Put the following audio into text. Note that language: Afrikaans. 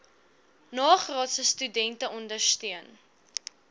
nagraadse studente ondersteun